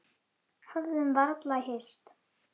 Höfðum varla hist.